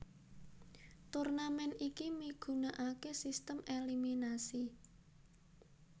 Turnamen iki migunakaké sistem eliminasi